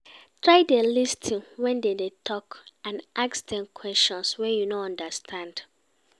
Try dey lis ten when dem dey talk and ask dem questions wey you no understand